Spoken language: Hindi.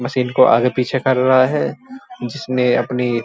मशीन को आगे पीछे कर रहा है। जिसमे अपनी --